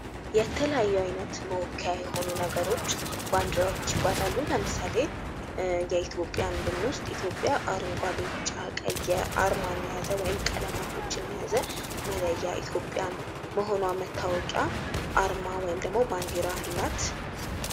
የተለያዩ ዓይነት መወከያ የሆኑ ነገሮች ባንዴራዎች ይባላሉ። ለምሳሌ የኢትዮጵያ ብንወስድ ኢትዮጵያ አረንጓዴ ፣ቢጫ፣ ቀይ አርማን የያዘ ወይም ቀለሟቶችን የያዘ መለያ ኢትዮጵያን መሆኗ መታወቂያ አርማ ወይም ደግሞ ባንዴራ አላት።